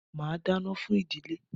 Màá dáná fún ìdílé.